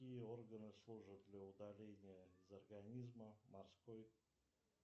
какие органы служат для удаления из организма морской